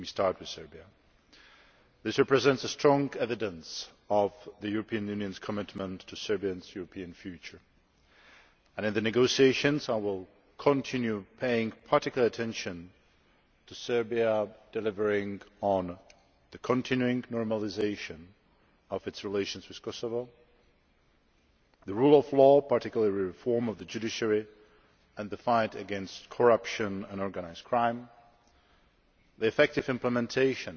I will start with Serbia. Your support represents strong evidence of the European Union's commitment to Serbia's European future, and in the negotiations I will continue paying particular attention to Serbia delivering on the continuing normalisation of its relations with Kosovo to the rule of law, particularly reform of the judiciary and the fight against corruption and organised crime to effective implementation